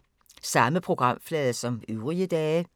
Samme programflade som øvrige dage